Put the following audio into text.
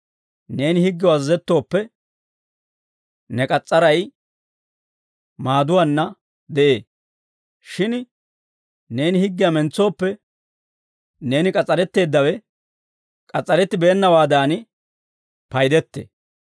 Neeni higgew azazettooppe, ne k'as's'aray maaduwaanna de'ee; shin neeni higgiyaa mentsooppe, neeni k'as's'aretteeddawe k'as's'arettibeennawaadan paydettee.